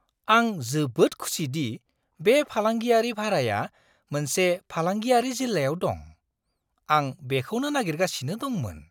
आं जोबोद खुसि दि बे फालांगियारि भाराया मोनसे फालांगियारि जिल्लायाव दं। आं बेखौनो नागिरगासिनो दंमोन!